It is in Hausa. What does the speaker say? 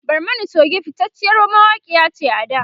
Barmani Choge fitaciyar mawakiya ce a da